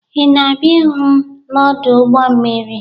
Ị na-abịa ịhụ m n'ọdụ ụgbọ mmiri?